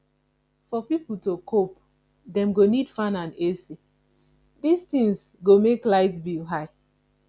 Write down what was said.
for pipo to cope dem go need fan and ac this things go make light bill high